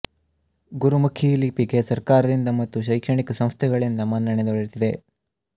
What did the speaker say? ಗುರುಮುಖಿ ಲಿಪಿಗೆ ಸರ್ಕಾರದಿಂದ ಮತ್ತು ಶೈಕ್ಷಣಿಕ ಸಂಸ್ಥೆಗಳಿಂದ ಮನ್ನಣೆ ದೊರೆತಿದೆ